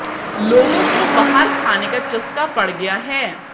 लोगों को बाहर खाने का चस्का पड़ गया है